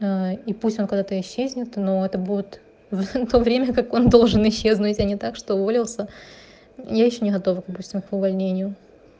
ээ и пусть он когда-то исчезнет но это будет то время как он должен исчезнуть а не так что уволился я ещё не готова допустим к увольнению